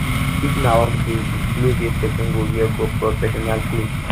if na work day di cloth wey person go wear go be professional cloth